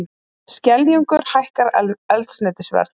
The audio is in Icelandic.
Skeljungur hækkar eldsneytisverð